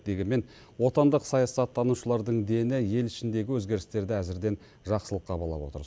дегенмен отандық саясаттанушылардың дені ел ішіндегі өзгерістерді әзірден жақсылыққа балап отыр